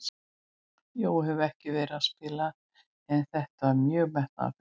Jói hefur ekki verið að spila en þetta var mjög metnaðarfullt.